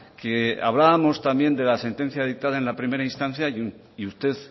que hablábamos también de la sentencia dictada en la primera instancia y usted